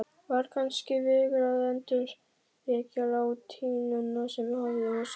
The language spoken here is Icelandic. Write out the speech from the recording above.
Var kannski vegur að endurvekja latínuna sem hafði sofið